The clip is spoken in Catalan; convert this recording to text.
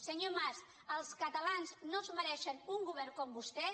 senyor mas els catalans no es mereixen un govern com vostè